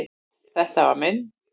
Þetta var minn.